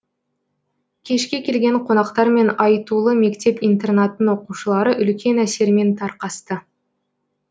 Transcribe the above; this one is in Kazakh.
кешке келген қонақтармен айтулы мектеп интернаттың оқушылары үлкен әсермен тарқасты